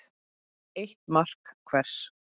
Eitt mark hver.